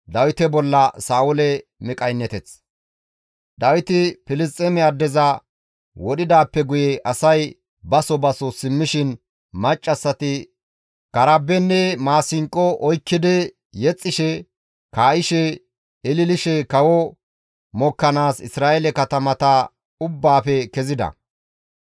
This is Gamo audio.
Dawiti Filisxeeme addeza wodhidaappe guye asay baso baso simmishin maccassati karabenne maasinqo oykkidi yexxishe, kaa7ishe, ililishe kawo mokkanaas Isra7eele katamata ubbaafe kezida.